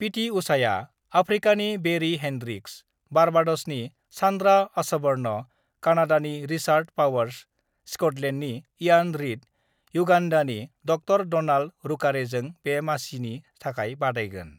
पिटि उषाआ आफ्रिकानि बेरीहेन्ड्रिक्स, बारबाडसनि सान्द्राअसबर्न, कानाडानि रिचार्डपावर्स, स्कटलेण्डनि इयान रीड, युगान्डानि ड डनाल्ड रुकारेजों बे मासिनि थाखाय बादायगोन।